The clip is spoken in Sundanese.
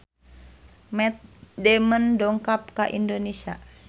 Matt Damon dongkap ka Indonesia